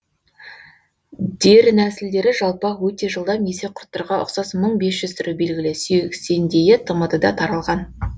дернәсілдері жалпақ өте жылдам есекқұрттарға ұксас мың бес жүз түрі белгілі сексендейі тмд да таралған